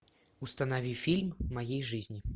установи фильм моей жизни